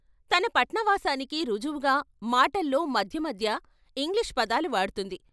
తన పట్నవాసానికి రుజువుగా మాటల్లో మధ్యమధ్య ఇంగ్లీషు పదాలు వాడ్తుంది.